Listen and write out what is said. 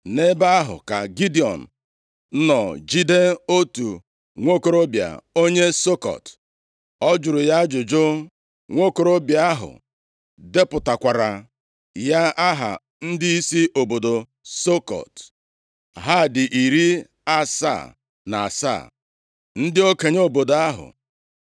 Nʼebe ahụ ka Gidiọn nọ jide otu nwokorobịa onye Sukọt. O jụrụ ya ajụjụ, nwokorobịa ahụ depụtakwaara ya aha ndịisi obodo Sukọt. Ha dị iri asaa na asaa, ndị okenye obodo ahụ.